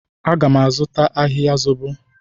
Aga m azụta ahịhịa zobo.